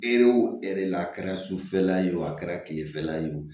Ere wo e yɛrɛ la a kɛra sufɛla ye o a kɛra tilefɛla ye o